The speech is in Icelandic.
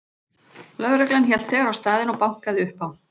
Lögreglan hélt þegar á staðinn og bankaði upp á.